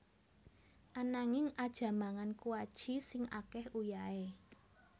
Ananging aja mangan kuaci sing ake uyahe